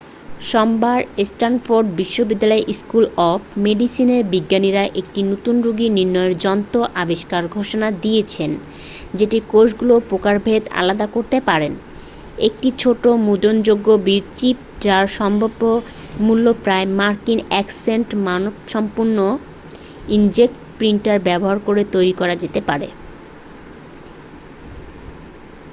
সোমবার স্ট্যানফোর্ড বিশ্ববিদ্যালয়ের school of মেডিসিনের বিজ্ঞানীরা একটি নতুন রোগ নির্ণয়ের যন্ত্র আবিষ্কারের ঘোষণা দিয়েছেন যেটি কোষগুলি প্রকারভেদে আলাদা করতে পারে একটি ছোট মুদ্রণযোগ্য চিপ যার সম্ভাব্য মূল্য প্রায় মার্কিন এক সেন্ট মানসম্পন্ন ইঙ্কজেট প্রিন্টার ব্যবহার করে তৈরি করা যেতে পারে